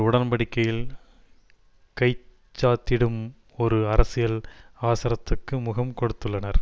உடன்படிக்கையில் கை சாத்திடும் ஒரு அரசியல் அவசரத்துக்கு முகம் கொடுத்துள்ளனர்